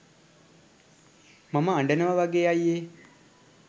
මම අඩනව වගේ අයියේ